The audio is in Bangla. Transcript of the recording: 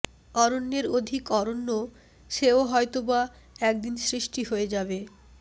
অরণ্যের অধিক অরণ্য সেও হয়তোবা একদিন সৃষ্টি হয়ে যাবে